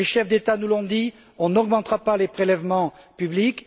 Les chefs d'État nous l'ont dit on n'augmentera pas les prélèvements publics.